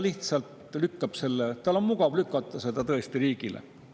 Tal on mugav lükata see riigi peale.